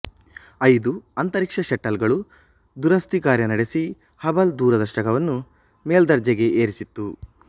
ಐದು ಅಂತರೀಕ್ಷ ಶೆಟ್ಟಲ್ ಗಳು ದುರಸ್ತಿ ಕಾರ್ಯ ನಡೆಸಿ ಹಬಲ್ ದೊರದರ್ಶಕವನ್ನು ಮೇಲ್ದರ್ಜೆ ಗೆ ಏರಿಸಿತ್ತು